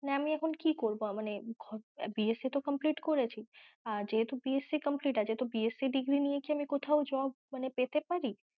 না আমি এখন কি করব মানে BSC তো complete করেছি উহ যেহেতু BSCcomplete আছে তো BSCdegree নিয়ে কি কোথাও job মানে পেতে পরি?